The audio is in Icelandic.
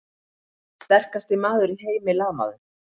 Sterkasti maður í heimi lamaður!